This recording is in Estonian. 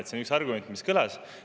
See on üks argument, mis kõlas.